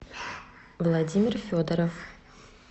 владимир федоров